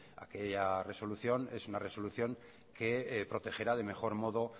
aquella resolución es una resolución que protegerá de mejor modo